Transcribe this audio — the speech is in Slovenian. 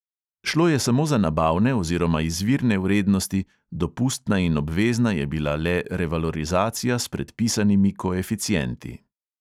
Šlo je samo za nabavne oziroma izvirne vrednosti, dopustna in obvezna je bila le revalorizacija s predpisanimi koeficienti.